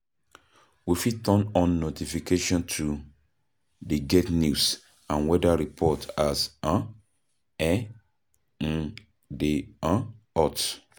We fit turn on notification to dey get news and weather report as um e um dey um hot